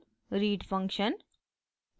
read function